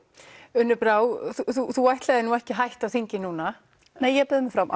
Unnur Brá þú ætlaðir nú ekki að hætta á þingi núna u nei ég bauð mig fram